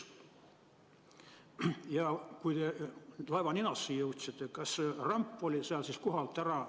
Ja kui te laeva ninasse jõudsite, kas ramp oli seal kohalt ära?